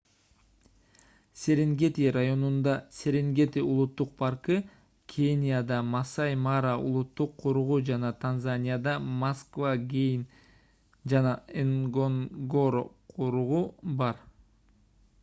серенгети районунда серенгети улуттук паркы кенияда масаи мара улуттук коругу жана танзанияда масва гейм жана нгоронгоро коругу бар